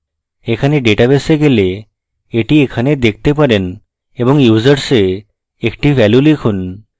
এখানে ডাটাবেসে গেলে এটি এখানে দেখতে পারেন এবং users a একটি value লিখুন